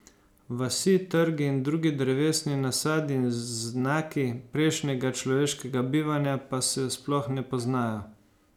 Vasi, trgi in drugi drevesni nasadi in znaki prejšnjega človeškega bivanja pa se sploh ne poznajo.